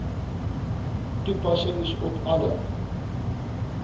toepassing op alle